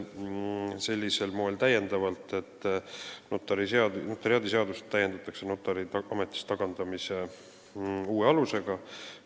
Näiteks see, et notariaadiseadust täiendatakse notari ametist tagandamise uue alusega.